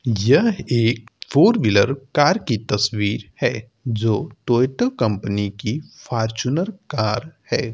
यह एक four wheeler car की तस्वीर है जो टोयटो कंपनी की फारचूनर कार है।